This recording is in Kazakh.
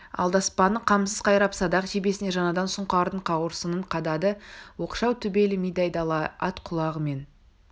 алдаспанын қамсыз қайрап садақ жебесіне жаңадан сұңқардың қауырсынын қадады оқшау төбелі мидай дала ат құлағы мен